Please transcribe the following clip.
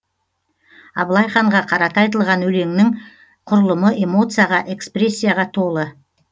абылай ханға қарата айтылған өлеңнің құрылымы эмоцияға экспрессияға толы